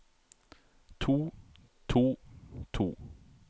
to to to